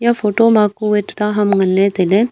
eya photo ma ku a tuita ham ngan ley tailey.